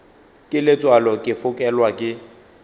ke letswalo ke fokelwa ke